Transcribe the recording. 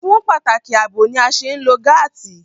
Fún pàtàkì àbò ni a ṣe ń lo gáàtì